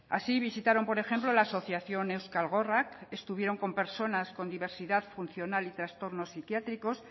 así visitaron por ejemplo la asociación euskal gorrak estuvieron con personas con diversidad funcional y trastorno psiquiátricos